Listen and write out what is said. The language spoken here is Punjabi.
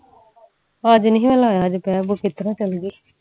ਅੱਜ ਨੀ ਨਾ ਲਾਯਾ ਅੱਜ ਬਹਿ ਬੁਹ ਕੇ ਇਤਰ ਚਲ ਗਈ